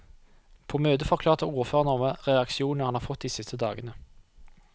På møtet forklarte ordføreren om alle reaksjonene han har fått de siste dagene.